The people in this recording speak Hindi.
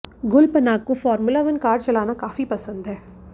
गुल पनाग को फॉर्मूला वन कार चलाना काफी पसंद है